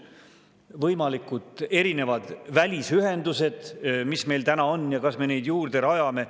Võimalikud erinevad välisühendused, mis meil täna on, ja kas me neid juurde rajame.